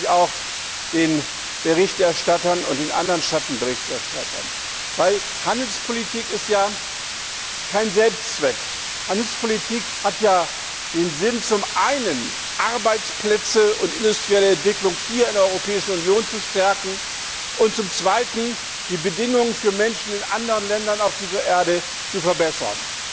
Hier danke ich auch den Berichterstattern und den Schattenberichterstattern. Handelspolitik ist kein Selbstzweck. Handelspolitik hat zum einen den Sinn, Arbeitsplätze und industrielle Entwicklung in der Europäischen Union zu stärken, und zum zweiten, die Bedingungen für Menschen in anderen Ländern dieser Erde zu verbessern.